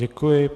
Děkuji.